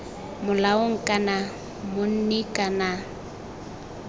molaong kana monni kana c